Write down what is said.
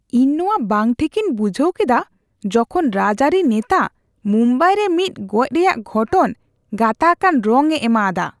ᱤᱧ ᱱᱚᱣᱟ ᱵᱟᱝ ᱴᱷᱤᱠ ᱤᱧ ᱵᱩᱡᱷᱟᱹᱣ ᱠᱮᱫᱟ ᱡᱚᱠᱷᱚᱱ ᱨᱟᱡᱽᱟᱹᱨᱤ ᱱᱮᱛᱟ ᱢᱩᱢᱵᱟᱭ ᱨᱮ ᱢᱤᱫ ᱜᱚᱡ ᱨᱮᱭᱟᱜ ᱜᱷᱚᱴᱚᱱ ᱜᱟᱛᱟᱠᱟᱱ ᱨᱚᱝᱼᱮ ᱮᱢᱟ ᱟᱫᱟ ᱾